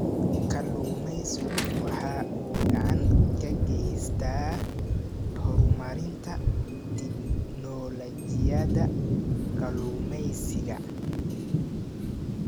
Kalluumaysigu waxa uu gacan ka geystaa horumarinta tignoolajiyada kalluumaysiga.